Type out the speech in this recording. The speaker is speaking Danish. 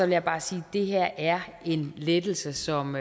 jeg bare sige at det her er en lettelse som